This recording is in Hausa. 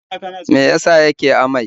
Me ya sa yake amai?